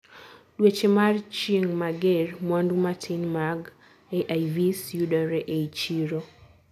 dueche mar chieng' mager, mwandu matin mag AIVs yudore ei chiro